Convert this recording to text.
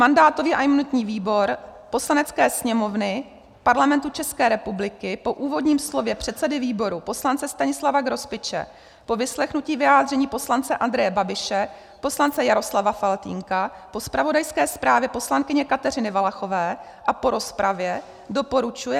Mandátový a imunitní výbor Poslanecké sněmovny Parlamentu České republiky po úvodním slově předsedy výboru poslance Stanislava Grospiče, po vyslechnutí vyjádření poslance Andreje Babiše, poslance Jaroslava Faltýnka, po zpravodajské zprávě poslankyně Kateřiny Valachové a po rozpravě doporučuje